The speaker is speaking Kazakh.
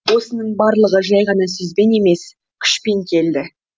осының барлығы жай ғана сөзбен емес күшпен келді